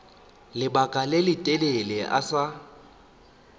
lebaka le letelele a sa